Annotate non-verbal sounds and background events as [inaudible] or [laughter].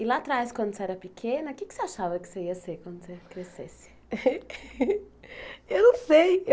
E lá atrás, quando você era pequena, o que é que você achava que você ia ser quando você crescesse? [laughs] Eu não sei